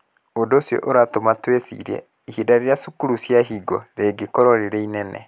Ũndũ ũcio ũratũma twĩcirie ihinda rĩrĩa cukuru ciahingwo rĩngĩkorũo rĩrĩ inene.